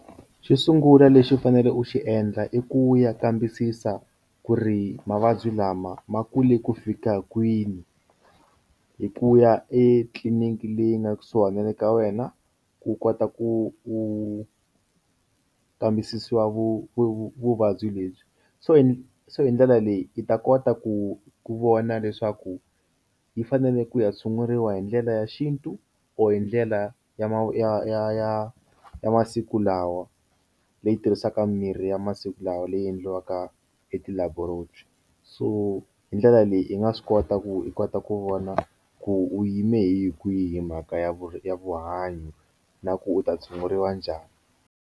Xo sungula lexi u faneleke u xi endla i ku ya kambisisa ku ri mavabyi lama ma kule ku fika kwini hi ku ya etliliniki leyi nga kusuhi na le ka wena ku kota ku u kambisisiwa vu vuvabyi lebyi so hi so hi ndlela leyi yi ta kota ku vona leswaku yi fanele ku ya tshunguriwa hi ndlela ya xintu or hi ndlela ya ya ya ya masiku lawa leyi tirhisaka mirhi ya masiku lawa leyi endliwaka e ti laboratory so hi ndlela leyi i nga swi kota ku i kota ku vona ku u yime hi kwihi mhaka ya vu ya vuhanyo na ku u ta tshunguriwa njhani.